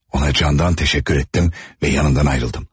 Ona candan təşəkkür etdim və yanından ayrıldım.